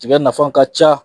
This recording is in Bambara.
Tiga nafa ka ca